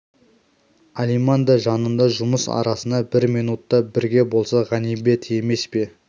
алиман да жанында жұмыс арасында бір минут та бірге болса ғанибет емес пе